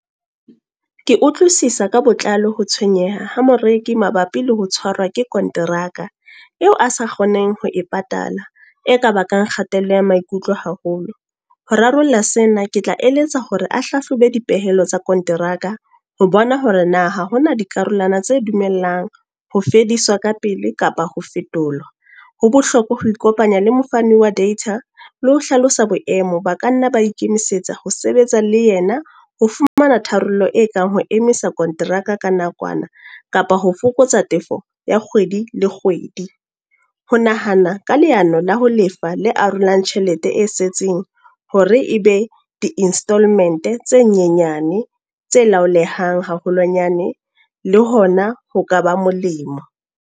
Ke utlwisisa ka botlalo ho tshwenyeha ha moreki mabapi le ho tshwarwa ke konteraka. Eo a sa kgoneng ho e patala. E ka bakang kgatello ya maikutlo haholo. Ho rarolla sena ke tla eletsa hore a hlahlobe dipehelo tsa konteraka, ho bona hore na ha hona dikarolwana tse dumellang ho fediswa ka pele kapa ho fetola. Ho bohlokwa ho ikopanya le mofani wa data, le ho hlalosa boemo. Ba ka nna ba ikemisetsa ho sebetsa le yena, ho fumana tharollo e kang ho emisa konteraka ka nakwana. Kapa ho fokotsa tefo ya kgwedi le kgwedi. Ho nahana ka leano la ho lefa le arolang tjhelete e setseng hore e be di installment tse nyenyane, tse laolehang haholwanyane. Le hona ho ka ba molemo.